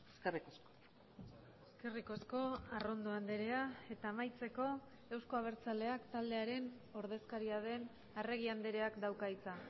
eskerrik asko eskerrik asko arrondo andrea eta amaitzeko euzko abertzaleak taldearen ordezkaria den arregi andreak dauka hitza